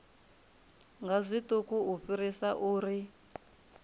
nga zwiṱuku u fhirisa uri